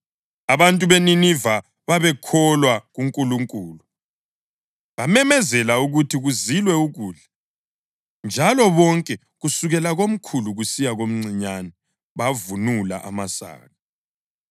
Abantu beNiniva babekholwa kuNkulunkulu. Bamemezela ukuthi kuzilwe ukudla, njalo bonke kusukela komkhulu kusiya komncinyane bavunula amasaka.